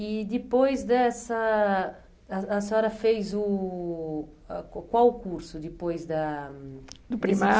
E depois dessa... A a senhora fez o ãh... qual Qual o curso depois da... Do primário?